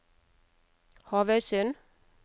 Havøysund